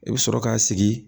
I bɛ sɔrɔ k'a sigi